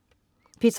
P3: